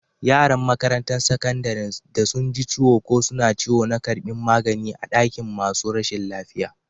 Yaran makarantan sakandaren da sun ji ciwo ko suna ciwo na karbin magani a'dakin masun rashin lafiya.